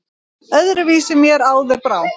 Öðru vísi mér áður brá!